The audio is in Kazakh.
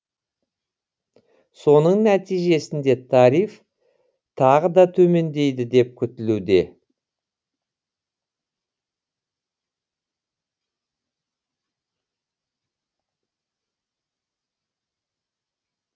соның нәтижесінде тариф тағы да төмендейді деп күтілуде